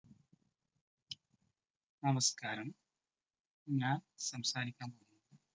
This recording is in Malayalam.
നമസ്കാരം! ഞാൻ സംസാരിക്കാൻ പോകുന്നത്